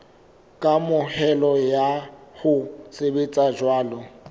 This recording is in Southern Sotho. kamohelo ya ho sebetsa jwalo